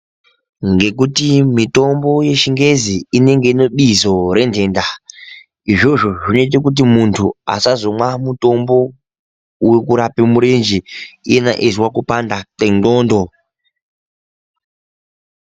Ngekuti mitombo yechibgezi inenge inebizo rentenda, izvozvo zvinoite kuti muntu asazomwapo wekurape murenje iyena eyizwa kupanda kwendxondo.